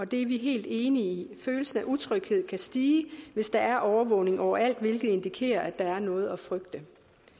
det er vi helt enige i følelsen af utryghed kan stige hvis der er overvågning overalt hvilket indikerer at der er noget at frygte